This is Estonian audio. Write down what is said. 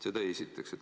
Seda esiteks.